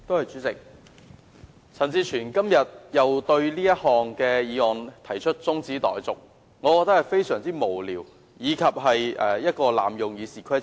主席，陳志全議員對這項議案又提出中止待續，我認為這個做法非常無聊，濫用《議事規則》。